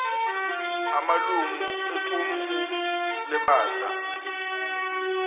amalungu equmrhu lebandla